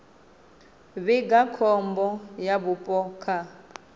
vhiga khombo ya vhupo kha